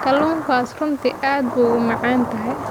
Kalluunkaasi runtii aad buu u macaan yahay.